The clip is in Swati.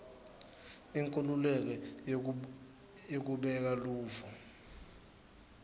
inkhululeko yekubeka luvo